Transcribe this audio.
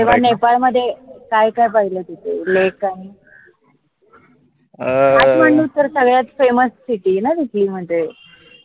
नेपाळमध्ये काय काय पाहिलं तिथे lake आणि? काठमांडू सगळ्यात famouscity आहे न तिथली म्हनजे